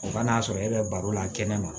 O kan'a sɔrɔ e bɛ baro la kɛnɛ ma